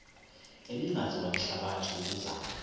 ebingaziwa lihlabathi yokuzama